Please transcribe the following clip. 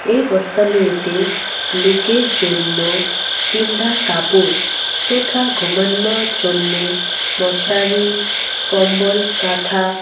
এ বস্তা লুয়েতে লোকের জন্য তিনডা কাপড় তথা ঘুমানোর জন্যে মশারি কম্বল কাঁথা--